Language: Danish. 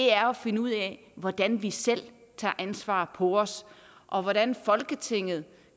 er at finde ud af hvordan vi selv tager ansvaret på os og hvordan folketinget